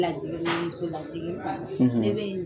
Lajiginin muso na digi in kan; Ne bɛ n